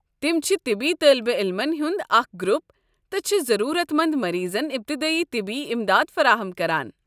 تم چھ طبی طٲلبہ عٔلمن ہُنٛد اکھ گرُپ تہٕ چھِ ضروٗرت منٛد مریضن ابتدٲیی طبی امداد فراہم کران۔